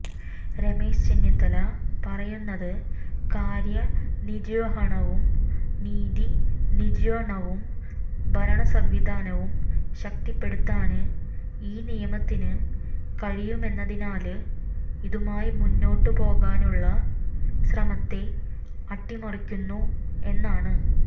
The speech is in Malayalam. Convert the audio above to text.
രമേശ് ചെന്നിത്തല പറയുന്നത് കാര്യനിര്വഹണവും നീതിനിര്വണവും ഭരണസംവിധാനവും ശക്തിപ്പെടുത്താന് ഈ നിയമത്തിന് കഴിയുമെന്നതിനാല് ഇതുമായി മുന്നോട്ടുപോകാനുള്ള ശ്രമത്തെ അട്ടിമറിക്കുന്നു എന്നാണ്